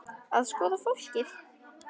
Að skoða fólkið.